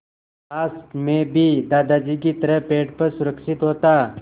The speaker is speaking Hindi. काश मैं भी दादाजी की तरह पेड़ पर सुरक्षित होता